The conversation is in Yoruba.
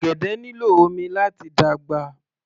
Ọ̀gẹ̀dẹ̀ nílò omi láti dàgbà